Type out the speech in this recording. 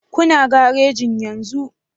Kuna garejin yenzu